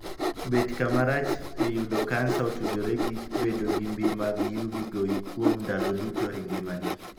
Bet kama rach eyudo kansa otudore gi bedo ni mbii mag 'UV' goyi kuom ndalo duto engimani.